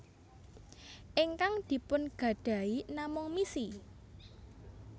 Ingkang dipun gadahi namung misi